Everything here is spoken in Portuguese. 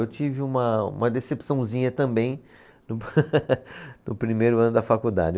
Eu tive uma, uma decepçãozinha também no, no primeiro ano da faculdade.